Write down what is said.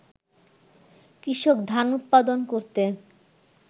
কৃষক ধান উৎপাদন করতে